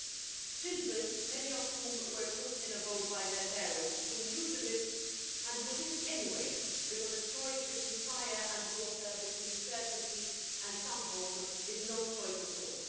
Many of these children were put in a boat by their parents, who knew the risks and who did it anyway because a choice between fire and water and between certainty and some hope is no choice at all.